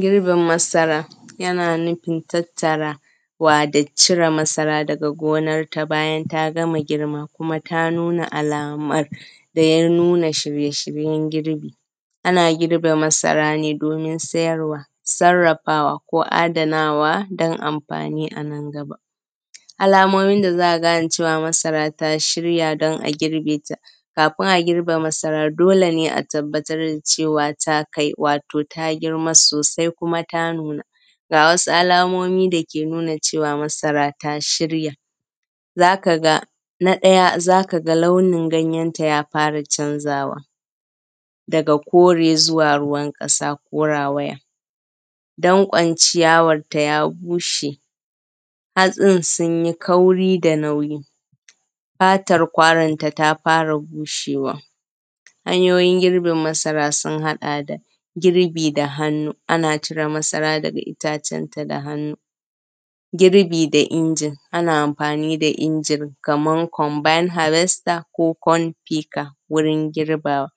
Girbin masara, yana nufin tattara wato cire masara daga gonarta bayan ta gama girma, kuma ta nuna alamun nuna shirye-shiryen girki. Ana girbe masara ne domin sayarwa, sarrafawa, ko adanawa don amfani anan gaba. Alamomi da za a gane cewa masara ya shirya don a girbeta, kafin a girbe masara dole ne a tabbatar da cewa ta kai, wato ta girma sosai kuma ta nuna. Ga wasu alamomi dake nuna cewa masara ta shirya. Zaka ga, na daya zaka ga launin ganyenta ta fara canzawa daga kore zuwa ruwan ƙasa ko rawaya, danƙon ciyawarta ya bushe, hatsin sun yi kauri da nauyi, fatan kwaranta ta fara bushewa. Hanyoyin girbin masara sun haɗa da girbi da hannu, ana cire masara daga itacen ta daga hannu. Girbi da injin ana amfani da injin kaman conban habesta ko konfika wurin girbawa,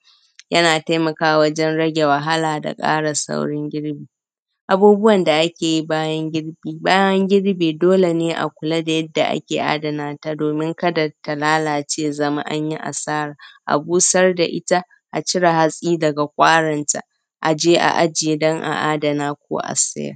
yana taimakawa wajen rage wahala da kara sauri wurin girbi. Abubuwan da akeyi bayan girbi, bayan anyi girbi dole ne a kula da yadda ake adanata domin kada ta lalace a zama anyi asara, a busar da ita, a cire hatsi daga kwaranta, aje a aje don a danata ko a siyar. s